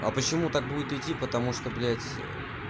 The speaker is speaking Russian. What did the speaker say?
а почему так будет идти потому что блять ээ